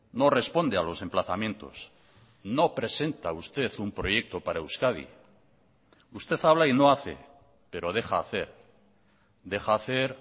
no responde a los emplazamientos no presenta usted un proyecto para euskadi usted habla y no hace pero deja hacer deja hacer